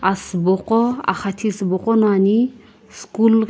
asübo qo axathi sübo qo no ane school.